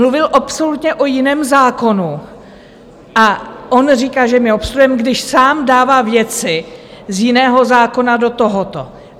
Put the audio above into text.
Mluvil absolutně o jiném zákonu a on říká, že my obstruujeme, když sám dává věci z jiného zákona do tohoto.